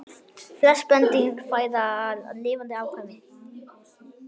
Flest spendýr fæða lifandi afkvæmi